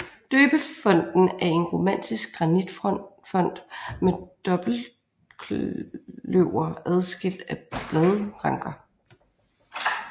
Døbefonten er en romansk granitfont med dobbeltløver adskilt af bladranker